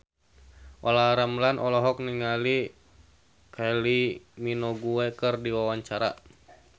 Olla Ramlan olohok ningali Kylie Minogue keur diwawancara